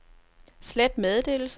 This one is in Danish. slet meddelelse